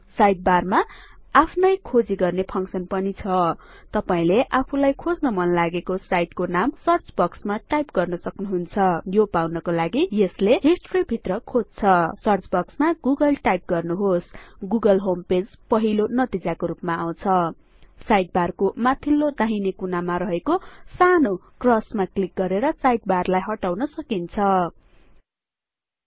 sidebar मा आफ्नै खोजी गर्ने फङसन् पनि छ तपाईंले आफूलाई खोज्न मन लागेको साईटको नाम सर्च बक्स मा टाईप गर्नसक्नु हुन्छ यो पाउनको लागि यसले हिस्टोरी भित्र खोज्दछ सर्च बक्स मा गुगले टाईप गर्नुहोस् गुगलहोमपेज पहिलो नतिजाको रुपमा आउँछ साइडबार को माथिल्लो दाहिने कुनामा रहेको सानो x मा क्लिक गरेर साइडबार लाई हटाउन सक्नुहुन्छ